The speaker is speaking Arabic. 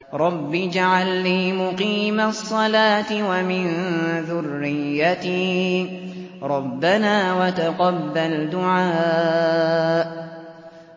رَبِّ اجْعَلْنِي مُقِيمَ الصَّلَاةِ وَمِن ذُرِّيَّتِي ۚ رَبَّنَا وَتَقَبَّلْ دُعَاءِ